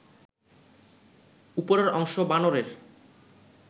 উপরের অংশ বানরের